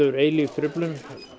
eilíf truflun